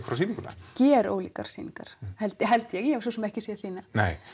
hvora sýninguna gerólíkar sýningar held ég held ég ég hef svo sem ekki séð þína